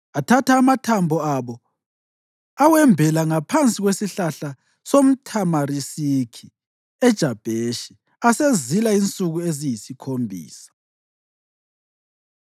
Athatha amathambo abo awembela ngaphansi kwesihlahla somthamarisiki eJabheshi, asezila insuku eziyisikhombisa.